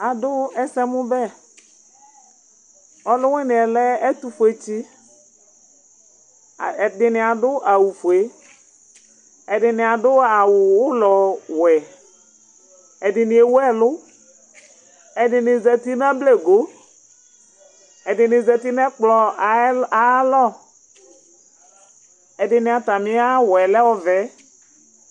Adu ɛsɛmu ɓɛ Ɔluwuniɛ lɛ ɛtu ƒuétsi Ɛdini adu awu fué, adini adu awu ulɔ wuɛ, ɛdinié wu ɛlu, ɛdini zati nu ablẹgo, ɛdini zati nɛ ɛkplɔ́ ayalɔ, ɛdini atamia awuɛ lɛ ɔʋɛ